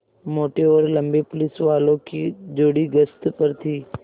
मोटे और लम्बे पुलिसवालों की जोड़ी गश्त पर थी